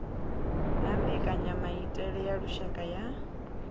na mbekanyamaitele ya lushaka ya